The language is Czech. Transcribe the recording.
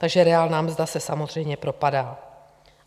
Takže reálná mzda se samozřejmě propadá.